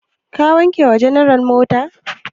Ka wanke wa general mota?